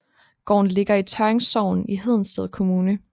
Gården ligger i Tørring Sogn i Hedensted Kommune